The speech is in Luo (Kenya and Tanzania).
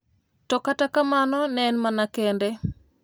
To kata kamano, ne en mana kende